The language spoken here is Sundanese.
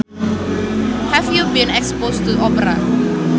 Have you been exposed to opera